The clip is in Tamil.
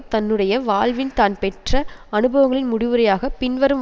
தன்னுடைய வாழ்வில் தான் பெற்ற அனுபவங்களின் முடிவுரையாக பின்வரும்